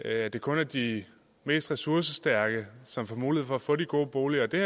er at det kun er de mest ressourcestærke som får mulighed for at få de gode boliger det